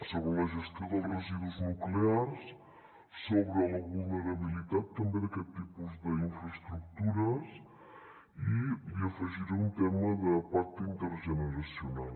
sobre la gestió dels residus nuclears sobre la vulnerabilitat també d’aquests tipus d’infraestructures i li afegiré un tema de pacte intergeneracional